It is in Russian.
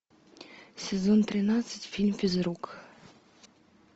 сезон тринадцать фильм физрук